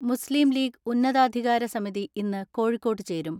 മുസ്ലീംലീഗ് ഉന്നതാധികാരസമിതി ഇന്ന് കോഴിക്കോട്ട് ചേരും.